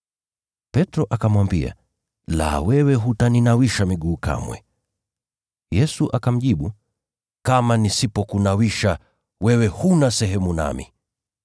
Petro akamwambia, “La, wewe hutaninawisha miguu kamwe.” Yesu akamjibu, “Kama nisipokunawisha, wewe huna sehemu nami.”